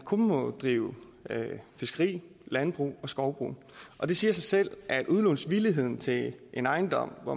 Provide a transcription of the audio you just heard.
kun må drives fiskeri landbrug og skovbrug og det siger sig selv at udlånsvilligheden til en ejendom hvor